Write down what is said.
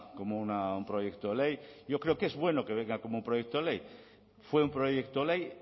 como un proyecto ley yo creo que es bueno que venga como un proyecto ley fue un proyecto ley